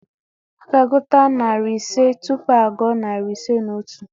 A ga-agụta narị ise tupu a gụọ narị ise na otu.